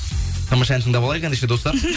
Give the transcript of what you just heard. тамаша ән тыңдап алайық ендеше достар